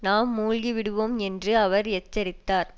நாம் மூழ்கி விடுவோம் என்று அவர் எச்சரித்தார்